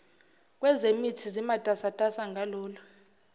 kwezemithi zimatasatasa ngalolu